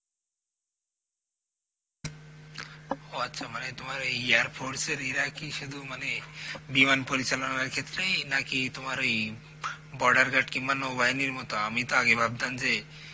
ও আচ্ছা মানে তোমার এই air force এর এরা কি সুধু মানে বিমান পরিচালনার ক্ষেত্রেই নাকি তোমার ওই border গার্ড কিনবা নৌবাহিনীর মতো আমি তো আগে ভাবতাম যে